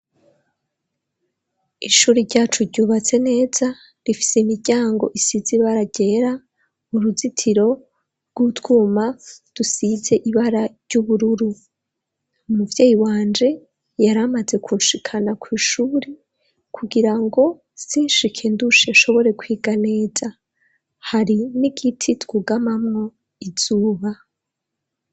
Ishuri ryacu ryubatse neza rifise imiryango isizibara gera uruzitiro rw'utwuma dusize ibara ry'ubururu, umuvyeyi wanje yaramaze kunshikana kw'ishuri kugira ngo sinshike ndushe ashobore kwiga neza, hari ni igiti twugamamwo izuba.